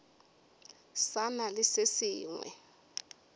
sa na le se sengwe